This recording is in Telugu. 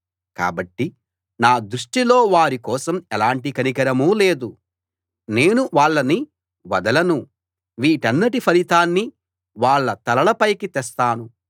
కాబట్టి నా దృష్టిలో వారి కోసం ఎలాంటి కనికరమూ లేదు నేను వాళ్ళని వదలను వీటన్నిటి ఫలితాన్ని వాళ్ళ తలల పైకి తెస్తాను